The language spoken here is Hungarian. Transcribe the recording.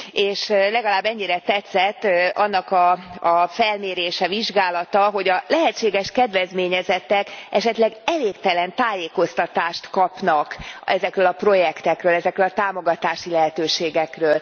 És legalább ennyire tetszett annak a felmérése, vizsgálata, hogy a lehetséges kedvezményezettek esetleg elégtelen tájékoztatást kapnak ezekről a projektekről, ezekről a támogatási lehetőségekről.